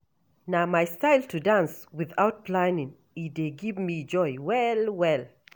Na my style to dance without planning, e dey give me joy well-well.